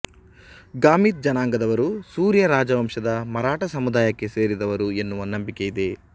ಗಾಮಿತ್ ಜನಾಂಗದವರು ಸೂರ್ಯ ರಾಜವಂಶದ ಮರಾಠ ಸಮುದಾಯಕ್ಕೆ ಸೇರಿದವರು ಎನ್ನುವ ನಂಬಿಕೆಯಿದೆ